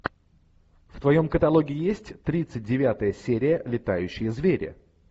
в твоем каталоге есть тридцать девятая серия летающие звери